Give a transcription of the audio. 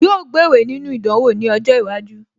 Yóò gbéwèé nínú ìdánwò ní ọjọ́ iwájú